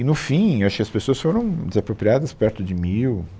E, no fim, acho que as pessoas foram desapropriadas perto de mil